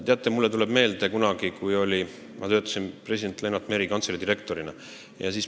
Teate, mulle tuleb meelde üks juhtum ajast, kui ma töötasin president Lennart Meri kantselei direktorina.